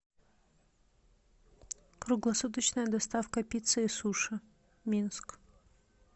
круглосуточная доставка пиццы и суши минск